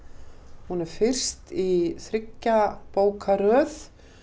hún er fyrst í þriggja bóka röð